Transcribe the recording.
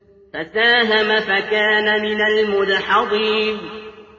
فَسَاهَمَ فَكَانَ مِنَ الْمُدْحَضِينَ